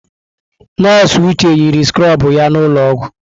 Nọọsụ Uche yiri skrobụ ya n'ụlọọgwụ.